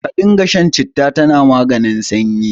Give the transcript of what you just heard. Ka dinga shan citta, tana maganin sanyi.